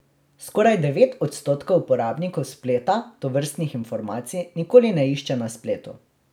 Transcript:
Skoraj devet odstotkov uporabnikov spleta tovrstnih informacij nikoli ne išče na spletu.